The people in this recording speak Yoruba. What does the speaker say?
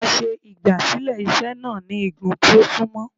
A ṣe igbasilẹ iṣe náá ni igùn ti o sunmọ